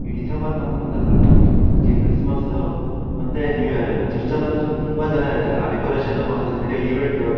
E December month ಬಂದ್ರೆ ಸಾಕು ಅಲ್ಲಿ ಕ್ರಿಸ್ಮಸ್ಸು ಮತ್ತೆ ನ್ಯೂ ಇಯರ್ ಅಲ್ಲಿ. ಚರ್ಚ್ ಲ್ ಅಂತು ತುಂಬಾ ಜನ ಇರ್ತಾರೆ. ಆ ಡೆಕೊರೆಶನೂ ಅದ್ರಲ್ಲಿ ನಡಿಯೋ ಇವೆಂಟು